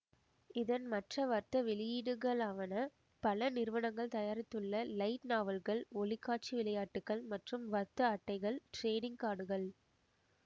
இதன் மற்ற வர்த்த வெளியீடுகளாவன பல நிறுவனங்கள் தயாரித்துள்ள லைட் நாவல்கள் ஒளி காட்சி விளையாட்டுக்கள் மற்றும் வர்த்தக அட்டைகள் டிரேடிங் கார்டுகள்